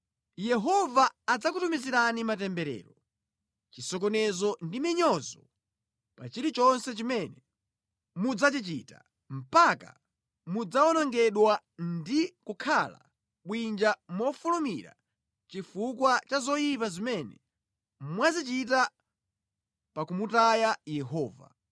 Yehova adzakutumizirani matemberero, chisokonezo ndi minyozo pa chilichonse chimene mudzachichita mpaka mudzawonongedwa ndi kukhala bwinja mofulumira chifukwa cha zoyipa zimene mwazichita pa kumutaya Yehova.